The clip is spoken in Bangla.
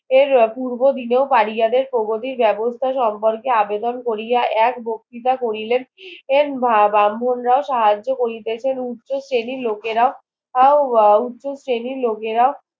এর পূর্ব দিনেও পাপিয়াদের ভৌগোলিক বেবস্থা সম্পর্কে আবেদন কোরিয়া এক বক্তিতা করিলেন এর ব্রাহ্মণরাও সাহায্য করিতেছেন উচ্চ শ্রেণীর লোকেরাও উচ্চ শ্রেণীর লোকেরা